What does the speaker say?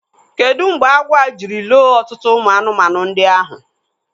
Kedu mgbe agwọ a jiri loo ọtụtụ ụmụ anụmanụ ndị ahụ?